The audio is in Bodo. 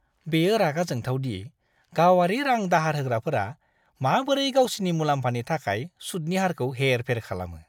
बेयो रागा जोंथाव दि गावारि रां-दाहार होग्राफोरा माबोरै गावसिनि मुलाम्फानि थाखाय सुदनि हारखौ हेर-फेर खालामो।